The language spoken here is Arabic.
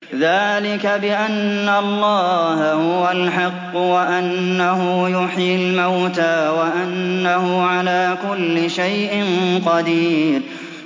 ذَٰلِكَ بِأَنَّ اللَّهَ هُوَ الْحَقُّ وَأَنَّهُ يُحْيِي الْمَوْتَىٰ وَأَنَّهُ عَلَىٰ كُلِّ شَيْءٍ قَدِيرٌ